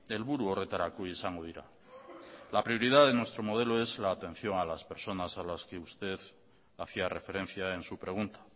helburu horretarako izango dira la prioridad de nuestro modelo es la atención a las personas a las que usted hacía referencia en su pregunta